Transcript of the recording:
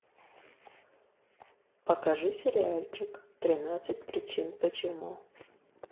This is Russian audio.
покажи сериальчик тринадцать причин почему